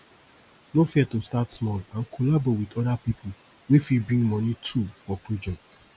no fear to start small and collabo with other pipo wey fit bring moni too for project